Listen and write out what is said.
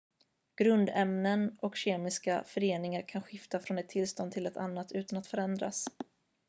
grundämnen och kemiska föreningar kan skifta från ett tillstånd till ett annat utan att förändras